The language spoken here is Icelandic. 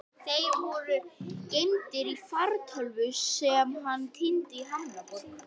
Þeir voru geymdir í fartölvu sem hann týndi í Hamborg.